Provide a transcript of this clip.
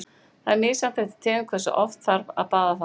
Það er misjafnt eftir tegundum hversu oft þarf að baða þá.